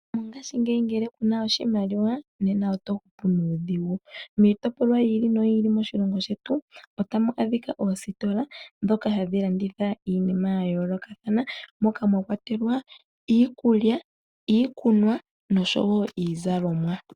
Mongashingeyi ngele kuna oshimaliwa, nena oto hupu nuudhigu. Miitopolwa oyi ili noyi ili moshilongo otamu adhika oositola ndhoka hadhi landitha iinima ya yoolokathana, mwakwatelwa iikulya, iikunwa nosho wo iizalomwa.